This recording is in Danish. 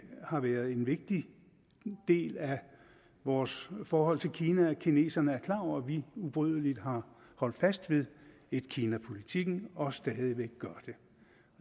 har været en vigtig del af vores forhold til kina at kineserne er klar over at vi ubrydeligt har holdt fast ved etkinapolitikken og stadig væk gør det